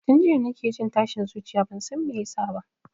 Tun jiya nake jin tashin zuciya bansan me yasa ba